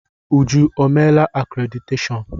Uju emeela akréditeshọọn?